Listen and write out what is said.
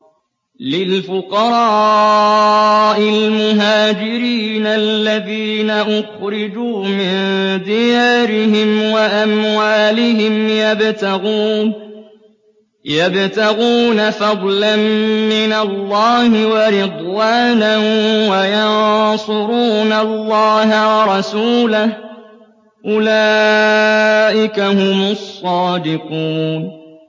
لِلْفُقَرَاءِ الْمُهَاجِرِينَ الَّذِينَ أُخْرِجُوا مِن دِيَارِهِمْ وَأَمْوَالِهِمْ يَبْتَغُونَ فَضْلًا مِّنَ اللَّهِ وَرِضْوَانًا وَيَنصُرُونَ اللَّهَ وَرَسُولَهُ ۚ أُولَٰئِكَ هُمُ الصَّادِقُونَ